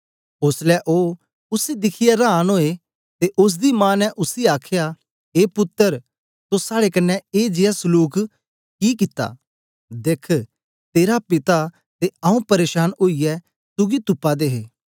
ओसलै ओ उसी दिखियै रांन ओए ते ओसदी मां ने उसी आखया ए पुत्तर तो साड़े कन्ने ए जियां सलूक कम कि कित्ता देख्ख तेरा पिता ते आऊँ परेशान ओईयै तुगी तुपा दे हे